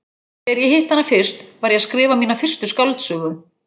Þegar ég hitti hana fyrst, var ég að skrifa mína fyrstu skáldsögu.